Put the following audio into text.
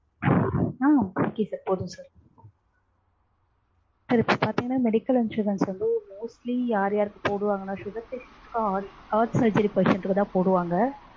அஹ் okay sir போதும் sir sir இப்போ பாத்தீங்கனா medical insurance mostly யார்யார்க்கு போடுவாங்கன்னா sugar patient க்கு heart surgery patient க்குதா போடுவாங்க.